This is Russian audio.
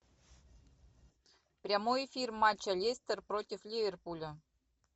прямой эфир матча лестер против ливерпуля